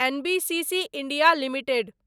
NBCC India limited